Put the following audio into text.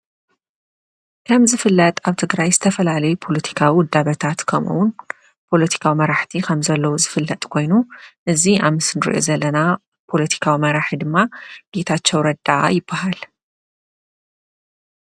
ከም ዝፍለጥ አብ ትግራይ ዝተፈላለዩ ፓሎቲካዊ ውዳበታት ከምኡ እውን ፓሎቲካዊ መራሕቲ ከም ዘሎው ዝፍለጥ ኮይኑ እዚ አብ ምሰሊ እነሪኦ ዘለና ፓሎቲካዊ መራሒ ድማ ጌታቸው ረዳ ይበሃል፡፡